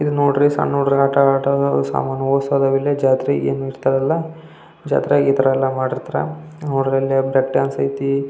ಇಲ್ಲಿ ನೋಡ್ರಿ ಸಣ್ಣ ಹುಡುಗರು ಆಟ ಆಡುತ್ತಾಇದ್ದಾರೆ ಸಾಮಾನ್ ಹೊಡ್ಸ್ಟೈದಾರೆ ಜಾತ್ರೆಗೆ ಏನ್ ಇರ್ತಾವೆ ಅಲ್ಲ ಜಾತ್ರೆಗೆ ಇತರ ಮಾಡಿರುತ್ತಾರೆ ನೋಡ್ರಿ ಇಲ್ಲಿ ಪೆಡಾನ್ಸ ಐತಿ--